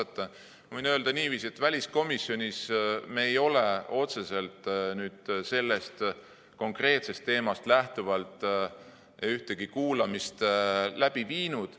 Ma võin öelda niiviisi, et väliskomisjonis me ei ole otseselt sellest konkreetsest teemast lähtuvalt ühtegi kuulamist läbi viinud.